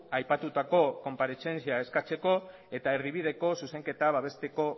aipatutako konparezentzia eskatzeko eta erdibideko zuzenketa babesteko